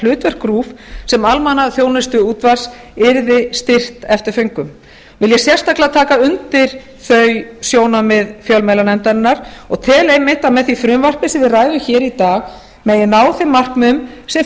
hlutverk rúv sem almannaþjónustuútvarps yrði styrkt eftir föngum vil ég sérstaklega taka undir þau sjónarmið fjölmiðlanefndarinnar og tel einmitt að með því frumvarpi sem við ræðum hér í dag megi ná þeim markmiðum sem